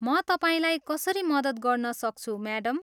म तपाईँलाई कसरी मद्दत गर्न सक्छु, म्याडम?